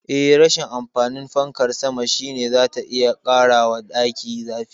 Eh, rashin amfanin fankar sama shine zata iya ƙarawa daki zafi.